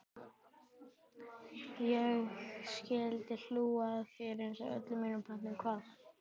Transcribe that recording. Ég skyldi hlú að þér einsog öllum mínum plöntum.